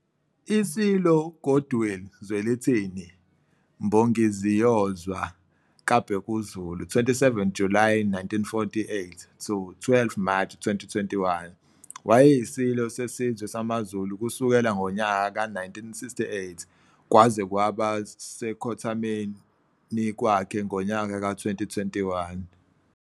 ISilo Goodwill Zwelithini Mbongiziyozwa kaBhekuzulu, 27 July 1948 - 12 March 2021, wayeyiSilo sesizwe samaZulu kusukela ngonyaka ka-1968 kwaze kwaba sekhothameni kwakhe ngonyaka ka-2021.